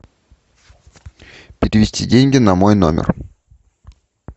перевести деньги на мой номер